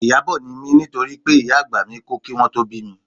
Ìyábọ̀ ni mí nítorí pé ìyá àgbà mi kú kí wọn tó bí mi